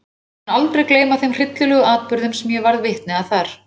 Ég mun aldrei gleyma þeim hryllilegu atburðum sem ég varð vitni að þar.